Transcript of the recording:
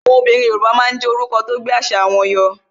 Àwọn obìnrin Yoruba máa ń jé orúkọ Yorùbá tó gbé àṣà wọn yọ